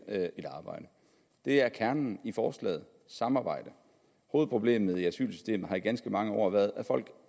et arbejde det er kernen i forslaget samarbejde hovedproblemet i asylsystemet har i ganske mange år været at folk